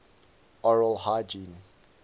oral hygiene